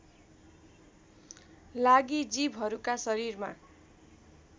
लागि जीवहरूका शरीरमा